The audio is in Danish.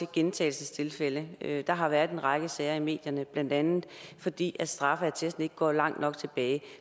gentagelsestilfælde der har været en række sager i medierne blandt andet fordi straffeattesten ikke går langt nok tilbage